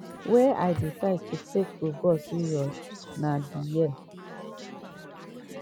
wey i decide to take football serious na di year